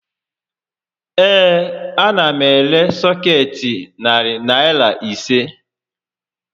Ee, a na m ere sọkeetị Narị Naịra ise